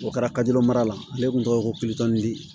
O kɛra mara la ale kun tɔgɔ ye ko